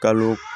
Kalo